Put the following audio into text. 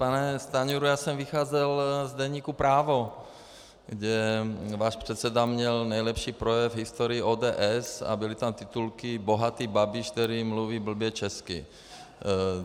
Pane Stanjuro, já jsem vycházel z deníku Právo, kde váš předseda měl nejlepší projev v historii ODS a byly tam titulky "bohatý Babiš, který mluví blbě česky".